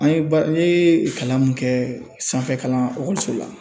An ye ba ne ye kalan min kɛ sanfɛ kalan so la.